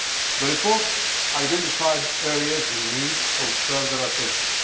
The report identified areas in need of further attention.